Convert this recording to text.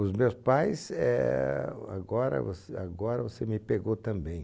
Os meus pais é, agora você, agora você me pegou também.